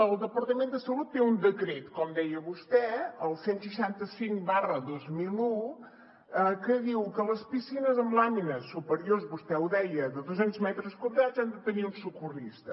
el departament de salut té un decret com deia vostè el cent i seixanta cinc dos mil un que diu que les piscines amb làmines superiors vostè ho deia de dos cents metres quadrats han de tenir un socorrista